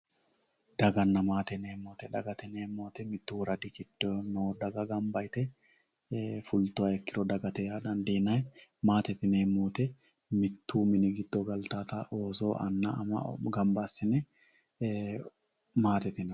Dagana maate yineemo woyte Dagate yineemo woyte mittu woraddi giddo noo daga ganibba Yite fulittuha ikkiro dagate yaa danidiinay maatete yineemo woyte Mittu mini giddo galitawota ooso ama anna ganibba assine maatete yineemo